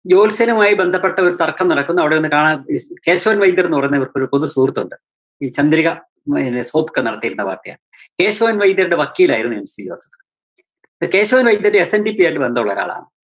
ജോത്സ്യനുമായി ബന്ധപെട്ട ഒരു തര്‍ക്കം നടക്കുന്നു, അവിടെ നിന്ന് കാണാന്‍ കേശവന്‍ വൈദ്യര്‍ന്ന് പറയുന്ന ഒരു പൊതു സുഹൃത്തുണ്ട്. ഈ ചന്ദ്രിക ഉം പിന്നെ വാര്‍ത്തയാണ്. കേശവന്‍ വൈദ്യരുടെ വക്കീലായിരുന്നു MC Joseph. Keshavan‍ Vaidyar‍ SNDP ആയിട്ട് ബന്ധമുള്ളൊരാളാ